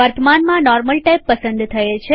વર્તમાનમાં normal tab પસંદ થયેલ છે